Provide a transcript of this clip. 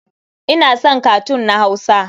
Ina son katun na Hausa.